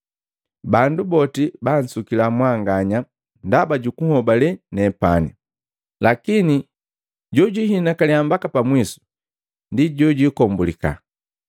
Bandu boti bansukila mwanganya ndaba jukunhobale nepani. Lakini jojihinakaliya mbaka pa mwisu, ndi jojikombulika.